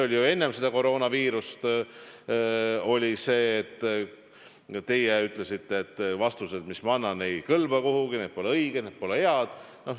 Oli ju enne seda koroonaviirust nii, et teie ütlesite, et vastused, mis ma annan, ei kõlba kuhugi, need pole õiged, need pole head.